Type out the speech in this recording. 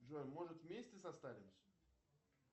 джой может вместе состаримся